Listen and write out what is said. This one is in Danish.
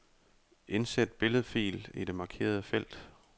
Indsæt billedfil i det markerede felt.